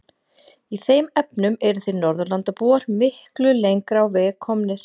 Í þeim efnum eruð þið Norðurlandabúar miklu lengra á veg komnir.